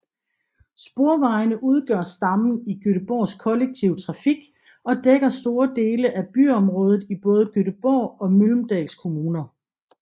Sporvejene udgør stammen i Göteborgs kollektive trafik og dækker store dele af byområdet i både Göteborgs og Mölndals kommuner